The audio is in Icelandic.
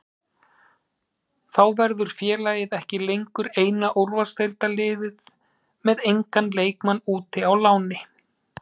Þá verður félagið ekki lengur eina úrvalsdeildarliðið með engan leikmann úti á láni.